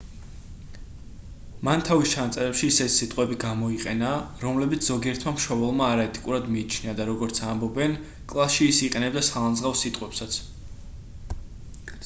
მან თავის ჩანაწერებში ისეთი სიტყვები გამოიყენა რომლებიც ზოგიერთმა მშობელმა არაეთიკურად მიიჩნია და როგორც ამბობენ კლასში ის იყენებდა სალანძღავ სიტყვებსაც